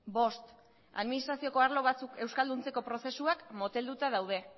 bost administrazioko arlo batzuk euskalduntzeko prozesuak motelduta daude